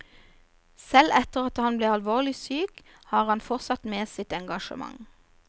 Selv etter at han ble alvorlig syk, har han fortsatt med sitt engasjement.